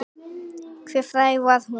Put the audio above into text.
Hve fræg var hún?